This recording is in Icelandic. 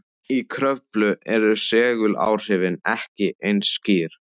Í Kröflu eru seguláhrifin ekki eins skýr.